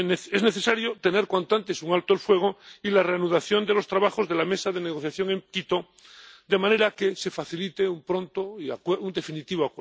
Es necesario tener cuanto antes un alto el fuego y la reanudación de los trabajos de la mesa de negociación en Quito, de manera que se facilite pronto un acuerdo definitivo.